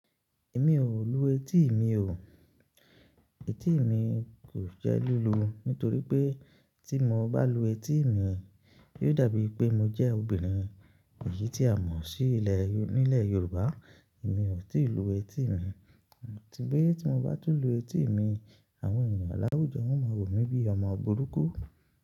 Èmi ò lu etí mi o. Etí mi kò jẹ́ lílu, nítorí pé tí mo bá lu etí mi, yóò dàbí pé mo jẹ́ obìnrin èyí tí a mọ̀ sí ilẹ̀ nílẹ̀ Yorùbá. Èmi ò tíì lu etí mi, àti pé tí mo bá tún lu etí mi, àwọn ènìyàn láwùjọ wọ́n máa wòmí bí i ọmọ burúkú.